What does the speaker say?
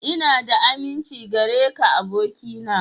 Ina da aminci gare ka abokina.